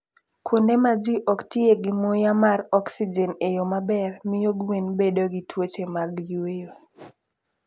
Kuonde ma ji ok tiye gi muya mar oxygen e yo maber, miyo gwen bedo gi tuoche mag yweyo.